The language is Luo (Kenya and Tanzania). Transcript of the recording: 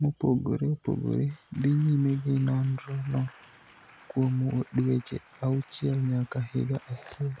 mopogore opogore dhi nyime gi nonrono kuom dweche auchiel nyaka higa achiel.